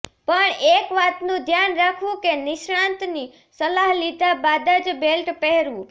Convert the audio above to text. પણ એક વાતનું ધ્યાન રાખવું કે નિષ્ણાંતની સલાહ લીધા બાદ જ બેલ્ટ પહેરવું